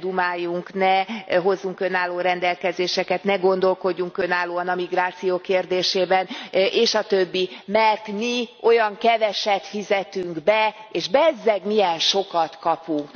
dumáljunk, ne hozzunk önálló rendelkezéseket, ne gondolkodjunk önállóan a migráció kérdésében és a többi, mert mi olyan keveset fizetünk be, és bezzeg milyen sokat kapunk.